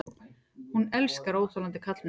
Hún elskar óþolandi karlmenn.